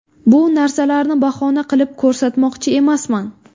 Bu narsalarni bahona qilib ko‘rsatmoqchi emasman.